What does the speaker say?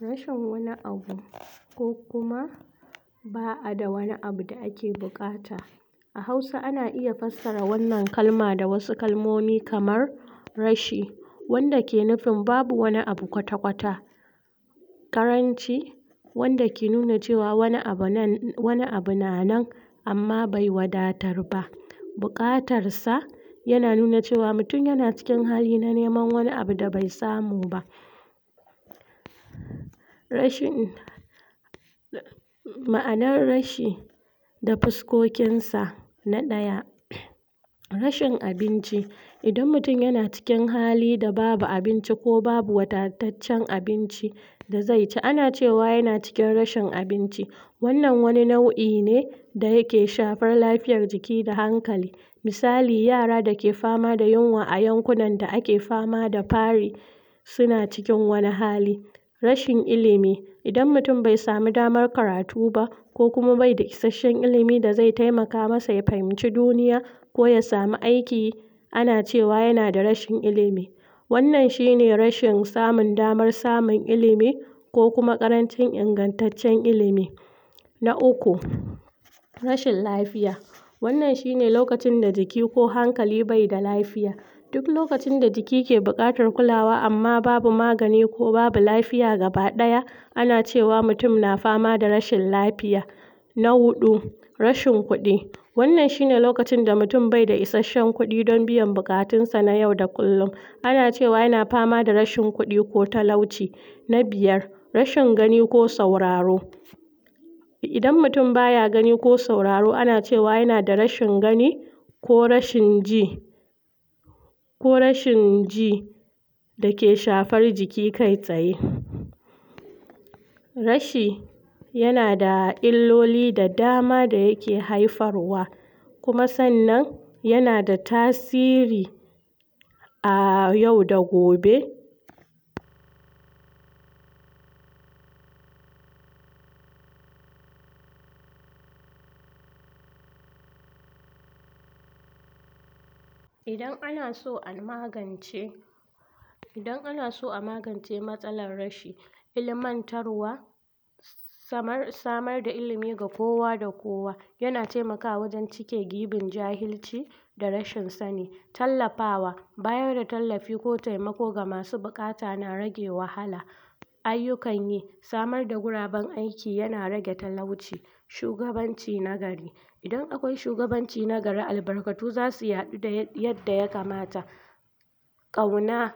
Rashin wani abu ko kuma ba'a da wani abu da ake buƙata a Hausa ana iya fassara wannan kalma da wasu kalmomi kamar rashi wanda ke nufin babu wani abu kwata-kwata ƙaranci wanda ke nuna cewa wani abu wani abu na nan amma bai wadatar ba, buƙatar sa yana nuna cewa mutun yana cikin hali na neman wani abu da bai samu ba rashin ma'anar rashi da fuskokin sa na ɗaya rashin abinci idan mutun yana cikin hali da babu abinci ko babu wadataccen abinci da zai ci, ana cewa yana cikin rashin abinci wannan wani nau'i ne da yake shafar lafiyar jiki da hankali misali yara da ke fama da yunwa a yankunan da ke fama da fari suna cikin wani hali rashin ilimi idan mutun bai samu damar karatu ba ko kuma bai da isashen ilimi da zai taimaka masa ya fahimci duniya ko ya samu aiki ana cewa yana da rashin ilimi wannan shi ne rashin samun damar samun ilimi ko kuma ƙarancin ingantaccen ilimi na uku, rashin lafiya wannan shi ne lokacin da jiki ko hankali bai da lafiya duk lokacin da jiki ke buƙatar kulawa amma babu magani ko babu lafiya gabaɗaya ana cewa mutun na fama da rashin lafiya na huɗu, rashin kuɗi wannan shi ne lokacin da mutun baida isashen kuɗi dan biyan buƙatun sa na yau da kullun ana cewa yana fama da rashin kuɗi ko talauci na biyar, rashin gani ko sauraro idan mutun baya gani ko sauraro ana cewa yana da rashin gani ko rashin ji ko rashin ji dake shafar jiki kai tsaye rashi yana da illoli da dama da yake haifar wa kuma sannan yana da tasiri a yau da gobe idan ana so a magance idan ana so a magance matsalar rashi ilimantarwa samar da ilimi ga kowa da kowa yana taimakawa wajen cike giɓin jahilci da rashin sani tallafawa bayar da tallafi ko taimako ga masu buƙata na rage wahala ayyukan yi samar da guraben aiki yana rage talauci shugabanci na gari idan akwai shugaban ci na gari albakatun zasu yaɗu yadda ya kamasa ƙauna